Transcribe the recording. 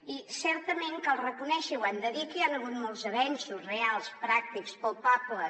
i certament cal reconèixer i ho hem de dir que hi han hagut molts avenços reals pràctics palpables